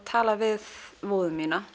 talaði við móður mína